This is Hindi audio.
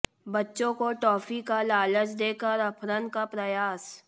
बच्चों को टॉफी का लालच देकर अपहरण का प्रयास